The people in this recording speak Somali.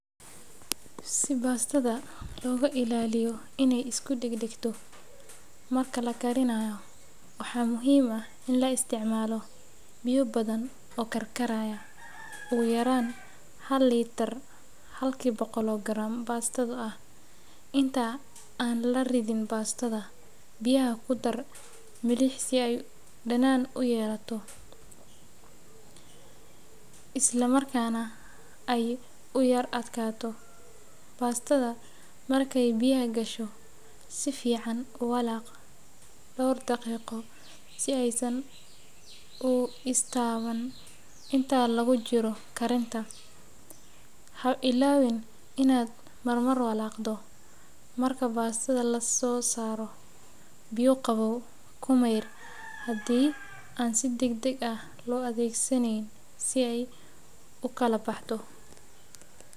Si baastada looga ilaaliyo inay isku dhegdhegto marka la karinayo, waxaa muhiim ah in la isticmaalo biyo badan oo karkaraya, ugu yaraan hal litir halkii boqol oo garam baasto ah. Inta aan la ridin baastada, biyaha ku dar milix si ay dhadhan u yeelato isla markaana ay u yara adkaato. Baastada markay biyaha gasho, si fiican u walaaq dhowr daqiiqo si aysan u is taaban. Inta lagu jiro karinta, ha ilaawin inaad marmar walaaqdo. Marka baastada la soo saaro, biyo qabow ku mayr haddii aan si degdeg ah loo adeegsaneyn si ay u kala baxdo.